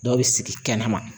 Dɔw bi sigi kɛnɛma